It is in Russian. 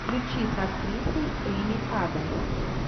включи с актрисой эми адамс